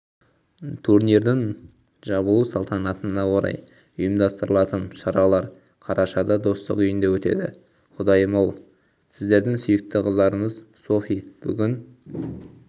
турнирдің жабылу салтанатына орай ұйымдастырылатын шаралар қарашада достық үйінде өтеді құдайым-ау сіздердің сүйікті қыздарыңыз софи бүгін